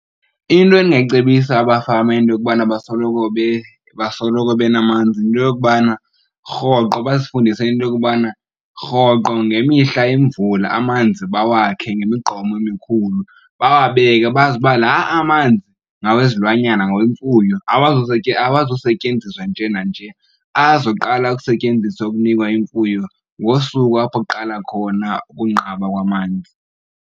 Into endingayicebisa abafama into yokubana basoloko , basoloko benamanzi yinto yokubana rhoqo bazifundise into yokubana rhoqo ngemihla imvula amanzi bawakhe ngemigqomo emikhulu. Bawabeke bazi ukuba la amanzi ngawezilwanyana ngawemfuyo, awazusetyenziswa nje nanje. Azoqala ukusetyenziswa ukunikwa imfuyo ngosuku apho kuqala khona ukunqaba kwamanzi.